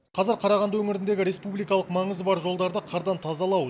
қазір қарағанды өңіріндегі республикалық маңызы бар жолдарды қардан тазалау